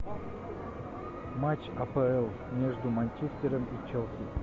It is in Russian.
матч апл между манчестером и челси